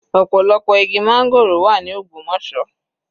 Ọ̀pọ̀lọpọ̀ igi máńgòrò wà ní Ogbomosọ.